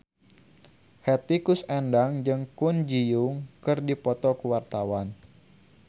Hetty Koes Endang jeung Kwon Ji Yong keur dipoto ku wartawan